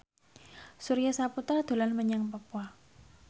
Surya Saputra dolan menyang Papua